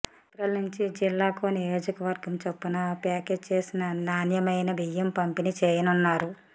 ఏప్రిల్నుంచి జిల్లాకో నియోజకవర్గం చొప్పున ప్యాక్చేసిన నాణ్యమైన బియ్యం పంపిణీ చేయనున్నారు